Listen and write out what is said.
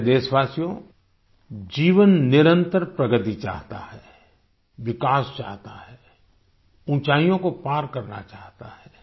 प्यारे देशवासियो जीवन निरंतर प्रगति चाहता है विकास चाहता है ऊँचाइयों को पार करना चाहता है